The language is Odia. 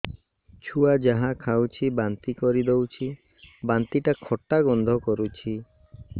ଛୁଆ ଯାହା ଖାଉଛି ବାନ୍ତି କରିଦଉଛି ବାନ୍ତି ଟା ଖଟା ଗନ୍ଧ କରୁଛି